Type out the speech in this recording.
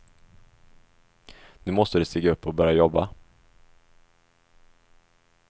Nu måste du stiga upp och börja jobba.